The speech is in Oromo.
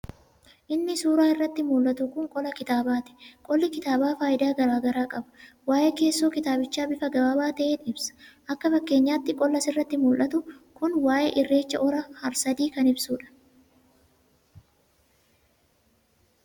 Inni suuraa irratti muldhatu kun qola kitaabaati. Qolli kitaabaa faayidaa garaa garaa qaba. Waa'ee keessoo kitaabichaa bifa gabaabaa ta'een ibsa. Akka fakeenyaatti qolli as irratti muldhatu kun waa'ee irreecha hora har-sadii kan ibsuudha.